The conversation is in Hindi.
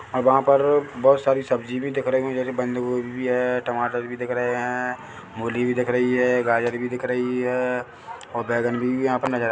--और वहाँ पर बहुत सारी सब्जी भी दिख रही है जैसे बंदगोभी है टमाटर भी दिख रहे हैं मूली भी दिख रही है गाजर भी दिख रही है और बैगन भी यहाँ पर नजर आ--